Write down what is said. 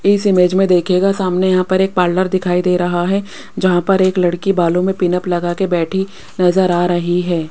इस इमेज में देखिएगा सामने यहां पर एक पार्लर दिखाई दे रहा है जहां पर एक लड़की बालों में पीनअप लगा के बैठी नजर आ रही है।